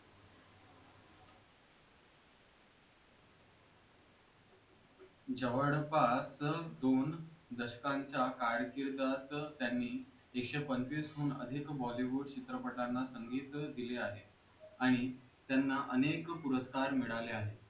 जवळपास दोन दशकाच्या कारकिर्दीत त्यांनी एकशे पंचवीस हून अधिक bollywood चित्रपटाना संगीत दिले आहे आणि त्यांना अनेक पुरस्कार मिळाले आहेत